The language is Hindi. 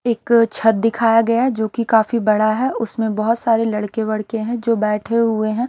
एक छत दिखाया गया जो की काफी बड़ा है उसमें बहुत सारे लड़के वड़के हैं जो बैठे हुए हैं।